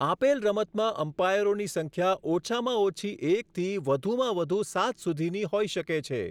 આપેલ રમતમાં અમ્પાયરોની સંખ્યા ઓછામાં ઓછી એકથી વધુમાં વધુ સાત સુધીની હોઈ શકે છે.